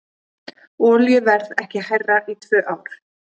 Olíuverð ekki hærra í tvö ár